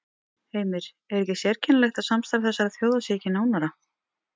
Heimir: Er ekki sérkennilegt að samstarf þessara þjóða sé ekki nánara?